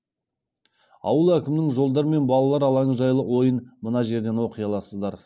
ауыл әкімінің жолдар мен балалар алаңы жайлы ойын мына жерден оқи аласыздар